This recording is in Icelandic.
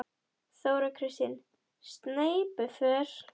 Þóra Kristín: Sneypuför?